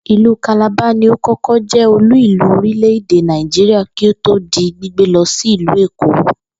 Ìlú Calabar ni ó kó̩kó̩ jé̩ olú-ìlú orílè̩-èdè Nàìjíríà kí ó tó di gbígbé lo̩ sí ìlú Èkó